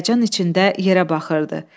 Həyəcan içində yerə baxırdı.